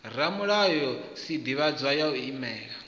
ramulayo sdivhadzo ya u imela